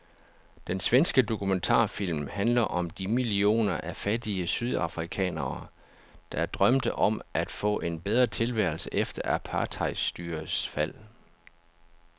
Den svenske dokumentarfilm handler om de millioner af fattige sydafrikanere, der drømte om at få en bedre tilværelse efter apartheidstyrets fald.